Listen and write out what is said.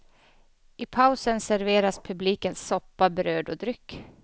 I pausen serveras publiken soppa, bröd och dryck.